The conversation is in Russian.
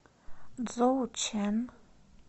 цзоучэн